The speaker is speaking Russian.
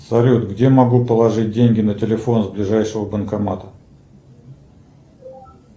салют где могу положить деньги на телефон с ближайшего банкомата